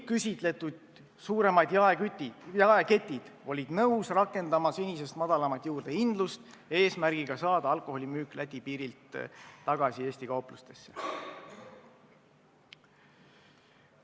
Kõik suuremad jaeketid olid nõus seda tegema, et alkoholimüük Läti piirilt tagasi Eesti kauplustesse tuua.